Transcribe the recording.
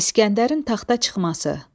İsgəndərin taxta çıxması.